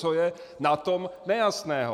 Co je na tom nejasného?